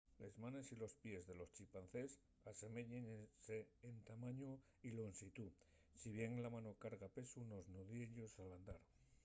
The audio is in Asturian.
les manes y los pies de los chimpancés aseméyense en tamañu y llonxitú si bien la mano carga'l pesu nos nudiellos al andar